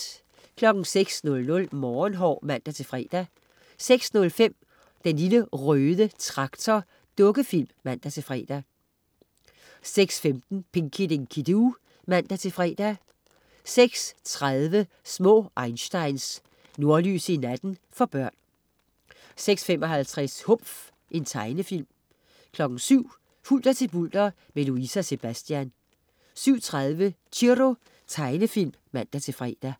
06.00 Morgenhår (man-fre) 06.05 Den Lille Røde Traktor. Dukkefilm (man-fre) 06.15 Pinky Dinky Doo (man-fre) 06.30 Små einsteins. Nordlys i natten. For børn 06.55 Humf. Tegnefilm 07.00 Hulter til bulter, med Louise og Sebastian 07.30 Chiro. Tegnefilm (man-fre)